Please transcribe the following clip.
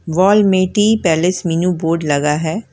Wall में Tea Palace menu board लगा है।